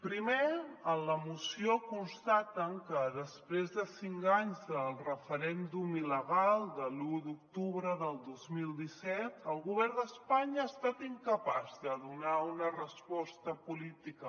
primer en la moció constaten que després de cinc anys del referèndum il·legal de l’un d’octubre del dos mil disset el govern d’espanya ha estat incapaç de donar una resposta política